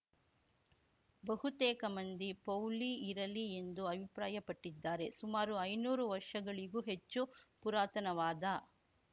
ಬಹುತೇಕ ಮಂದಿ ಪೌಳಿ ಇರಲಿ ಎಂದು ಅಭಿಪ್ರಾಯಪಟ್ಟಿದ್ದಾರೆ ಸುಮಾರು ಐನೂರು ವರ್ಷಗಳಿಗೂ ಹೆಚ್ಚು ಪುರಾತನವಾದ